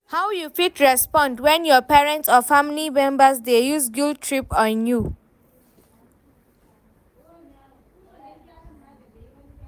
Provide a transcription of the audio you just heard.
how you fit respond when your parents or family members dey use guilt-trip on you?